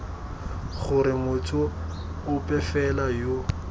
gore motho ope fela yo